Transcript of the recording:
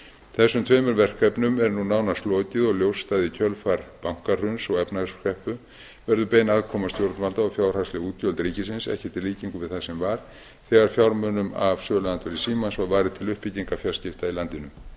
þessum tveimur verkefnum er nú nánast lokið og ljóst að í kjölfar bankahruns og efnahagskreppu verður bein aðkoma stjórnvalda og fjárhagsleg útgjöld ríkisins ekkert í líkingu við það sem var þegar fjármunum af söluandvirði símans var varið til uppbyggingar fjarskipta í landinu